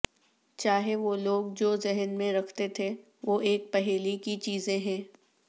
چاہے وہ لوگ جو ذہن میں رکھتے تھے وہ ایک پہیلی کی چیزیں ہیں